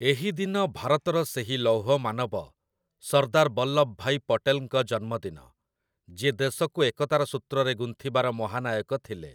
ଏହିଦିନ ଭାରତର ସେହି ଲୌହମାନବ, ସର୍ଦ୍ଦାର୍ ବଲ୍ଲଭଭାଇ ପଟେଲ୍‌ଙ୍କ ଜନ୍ମଦିନ, ଯିଏ ଦେଶକୁ ଏକତାର ସୂତ୍ରରେ ଗୁନ୍ଥିବାର ମହାନାୟକ ଥିଲେ ।